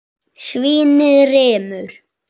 Svínið rymur.